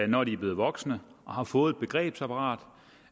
når de er blevet voksne og har fået et begrebsapparat